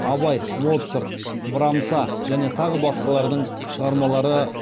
абай моцарт брамса және тағы басқалардың шығармалары